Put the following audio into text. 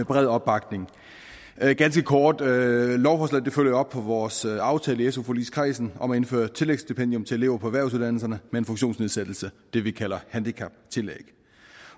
bred opbakning jeg vil ganske kort sige at lovforslaget følger op på vores aftale i su forligskredsen om at indføre tillægsstipendium til elever på erhvervsuddannelserne med en funktionsnedsættelse det vi kalder handicaptillæg